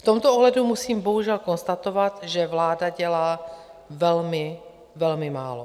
V tomto ohledu musím bohužel konstatovat, že vláda dělá velmi, velmi málo.